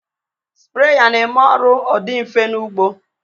Spreya na-eme ọrụ ọ dị mfe n'ụgbọ